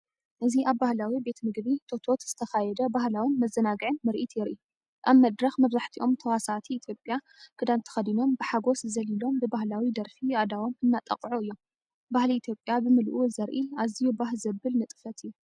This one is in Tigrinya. እዚ ኣብ ባህላዊ ቤት መግቢ ቶቶትዝተኻየደ ባህላውን መዘናግዕን ምርኢት የርኢ። ኣብ መድረኽ መብዛሕትኦም ተዋሳእቲ ኢትዮጵያዊ ክዳን ተኸዲኖም ብሓጎስ ዘሊሎም ብባህላዊ ደርፊ ኣእዳዎም እናጣቕዑ እዮም። ባህሊ ኢትዮጵያ ብምልኡ ዘርኢ ኣዝዩ ባህ ዘብል ንጥፈት እዩ።